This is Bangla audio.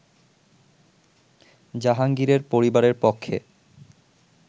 জাহাঙ্গীরের পরিবারের পক্ষে